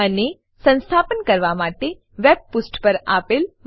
અને સંસ્થાપન કરવા માટે વેબ પુષ્ઠ પર આપેલી માહિતી અનુસરો